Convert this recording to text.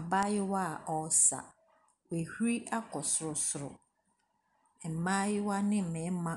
Abaayewa ɔɔsa. W'ahuri akɔ sorosoro. Mmaayewa ne mɛɛma